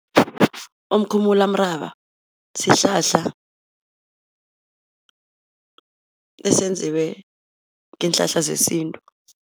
Umkhumulamuraba sihlahla esenziwe ngeenhlanhla zesintu.